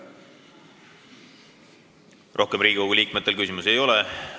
Riigikogu liikmetel rohkem küsimusi ei ole.